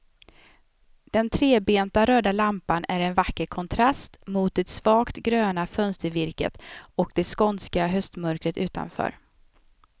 Den trebenta röda lampan är en vacker kontrast mot det svagt gröna fönstervirket och det skånska höstmörkret utanför.